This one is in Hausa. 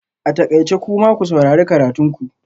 A takaice! kuma ku saurari karatun ku